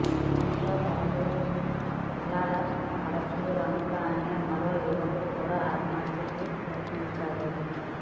అతనితో పాటు యాలాల పరుశురాములు అనే మరో యువకుడు కూడా ఆత్మహత్యకు యత్నించాడు